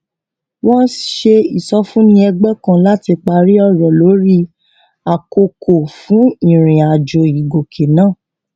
wọn ṣe ìsọfúnni ẹgbẹ kan láti parí ọrọ lórí àkókò fún ìrìn àjò ìgọkè náà